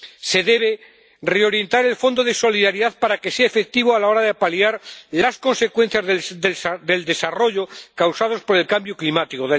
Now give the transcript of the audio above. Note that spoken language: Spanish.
Se debe reorientar el Fondo de Solidaridad para que sea efectivo a la hora de paliar las consecuencias del desastre causadas por el cambio climático.